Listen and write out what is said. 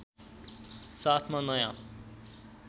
साथमा नयाँ